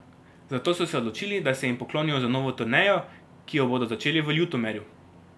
Zato so se odločili, da se jim poklonijo z novo turnejo, ki jo bodo začeli v Ljutomeru.